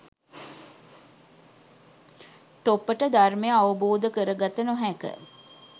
තොපට ධර්මය අවබෝධ කර ගත නොහැක.